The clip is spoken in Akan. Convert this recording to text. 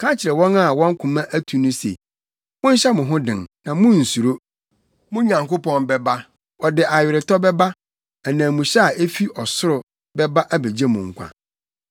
Ka kyerɛ wɔn a wɔn koma atu no se, “Monhyɛ mo ho den, na munnsuro; mo Nyankopɔn bɛba, ɔde aweretɔ bɛba; ananmuhyɛ a efi ɔsoro bɛba abegye mo nkwa.”